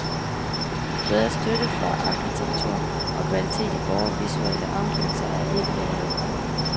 Bedre støtte for arkitektur og kvalitet i vore visuelle omgivelser er ikke lavet.